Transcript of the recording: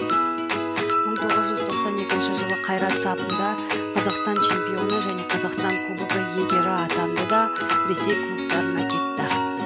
мың тоғыз жүз тоқсан екінші жылы қайрат сапында қазақстан чемпионы және қазақстан кубогы иегері атанды да ресей клубтарына кетті